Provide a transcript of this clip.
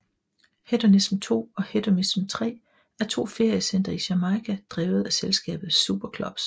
Hedonism II og Hedonism III er to feriecentre i Jamaica drevet af selskabet SuperClubs